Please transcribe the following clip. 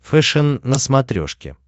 фэшен на смотрешке